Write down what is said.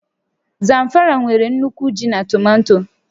Zamfara nwere nnukwu ji na tomato